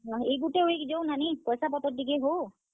ଇ ଗୁଟେ week ଯାଉ ନାନୀ ପାଏସା, ପତର୍ ଟିକେ ହଉ।